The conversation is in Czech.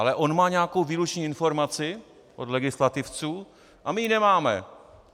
Ale on má nějakou výlučnou informaci od legislativců a my ji nemáme!